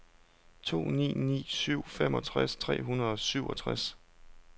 to ni ni syv femogtres tre hundrede og syvogtres